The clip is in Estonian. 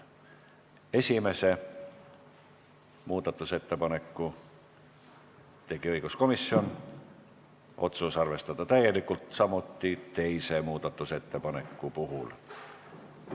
Esimese muudatusettepaneku tegi õiguskomisjon, samuti teise muudatusettepaneku, otsus on arvestada täielikult.